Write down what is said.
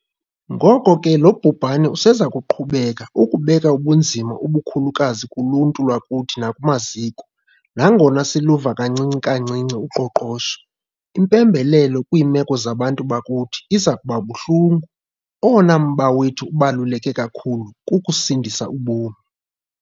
Ngoko ke lo bhubhane useza kuqhubeka ukubeka ubunzima obukhulukazi kuluntu lwakuthi nakumaziko. Nangona siluvula kancinci-kancinci uqoqosho, impembelelo kwiimeko zabantu bakuthi iza kuba buhlungu. Owona mba wethu ubaluleke kakhulu kukusindisa ubomi.